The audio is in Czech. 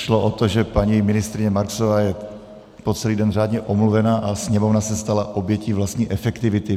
Šlo o to, že paní ministryně Marksová je po celý den řádně omluvena a Sněmovna se stala obětí vlastní efektivity.